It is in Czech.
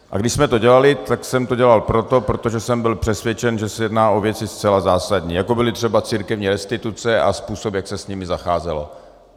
A když jsme to dělali, tak jsem to dělal proto, protože jsem byl přesvědčen, že se jedná o věci zcela zásadní, jako byly třeba církevní restituce a způsob, jak se s nimi zacházelo.